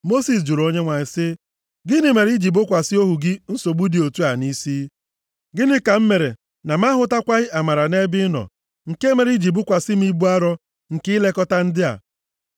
Mosis jụrụ Onyenwe anyị sị, “Gịnị mere i ji bokwasị ohu gị nsogbu dị otu a nʼisi? Gịnị ka m mere na m ahụtakwaghị amara nʼebe ị nọ, nke mere i ji bukwasị m ibu arọ nke ilekọta ndị a?